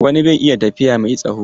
Wani bai iya tafiya mai tsawo.